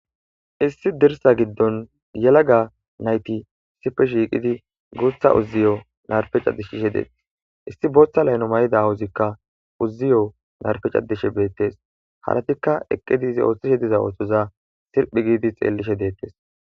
issi dirsa giddon yelaga nayti isife shiiqidi guutha uziyo narpeca dishishe deete issi booththa laylo may'ida wuzikka uziyo narfecadishe beettes haratikka eqqidi izi ooththishe diza ootoza sirphi giidi xeellishe deettes